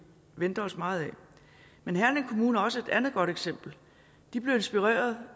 venter os meget af men herning kommune er også et andet godt eksempel de blev inspireret